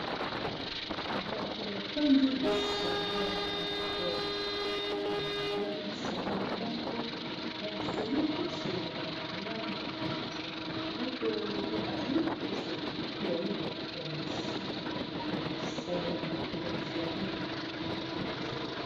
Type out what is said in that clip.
Bato bafandi lisanga moko bazali ko solola malamu mpenza moto na moto azali kopesa ya ye makanisi ya mosala koto bazali.